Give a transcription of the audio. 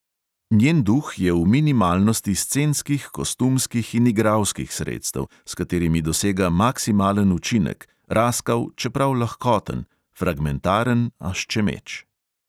Njen duh je v minimalnosti scenskih, kostumskih in igralskih sredstev, s katerimi dosega maksimalen učinek, raskav, čeprav lahkoten; fragmentaren, a ščemeč.